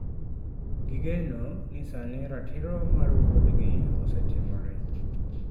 Gigeno ni sani ratiro mar wuodgi osetimore.